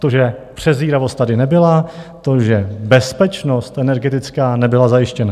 To, že předvídavost tady nebyla, to, že bezpečnost energetická nebyla zajištěna.